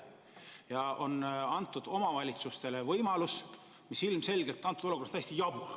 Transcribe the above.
Ja on antud omavalitsustele võimalus lisa maksta, mis ilmselgelt on praeguses olukorras täiesti jabur.